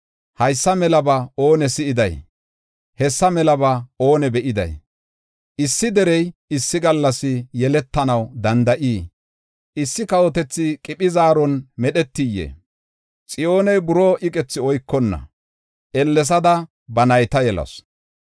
Haysa melaba oone si7iday? Hessa melaba oone be7iday? Issi derey issi gallas yeletanaw danda7iyee? issi kawotethi qiphi zaaron medhetiyee? Xiyooney buroo iqethi oykonna, ellesada ba nayta yelasu.